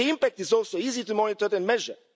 The impact is also easy to monitor the measure.